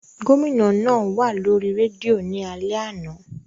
Gomina naa wa lori redio ni alẹ ana.